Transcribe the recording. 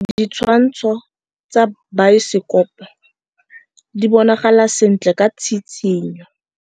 Ditshwantshô tsa biosekopo di bonagala sentle ka tshitshinyô.